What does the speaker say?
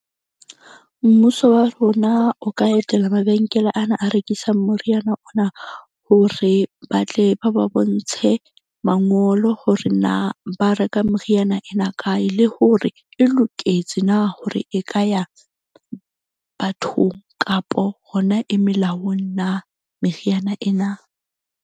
Mmuso wa rona o ka etela mabenkele ana a rekisang moriana ona, hore ba tle ba ba bontshe mangolo hore na ba reka meriana ena kae, le hore e loketse na, hore e ka ya bathong kapo hona e melaong na meriana ena.